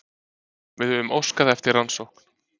Við höfum óskað eftir rannsókn